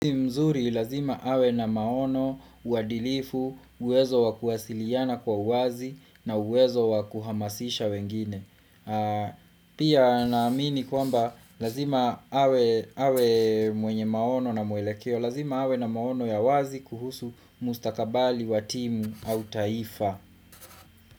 Mzuri, ni lazima awe na maono, uadilifu, uwezo wakuhasiliana kwa uwazi na uwezo wakuhamasisha wengine. Pia na amini kwamba, lazima awe mwenye maono na mwelekeo, lazima awe na maono ya wazi kuhusu mustakabali wa timu au taifa.